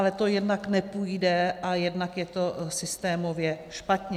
Ale to jednak nepůjde a jednak je to systémově špatně.